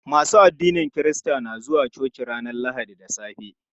Masu addinin kirista na zuwa coci ranar lahadi da safe.